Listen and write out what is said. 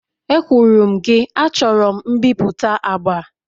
Ekwuru m gị, achọrọ m mbipụta agba!